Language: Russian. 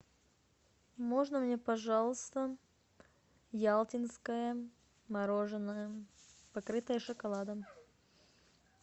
можно мне пожалуйста ялтинское мороженое покрытое шоколадом